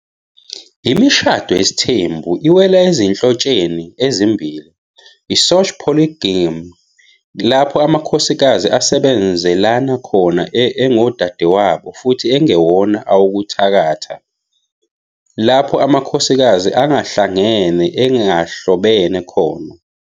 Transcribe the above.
Imishado yesithembu iwela ezinhlotsheni ezimbili- i- "sorgy polygyny", lapho amakhosikazi "asebenzelana khona engodadewabo, futhi engewona awokuthakatha", lapho amakhosikazi angahlangene engahlobene khona.